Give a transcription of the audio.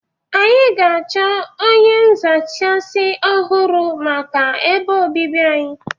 Anyị ga-achọ onye nzachasị ọhụrụ maka ebe obibi anyị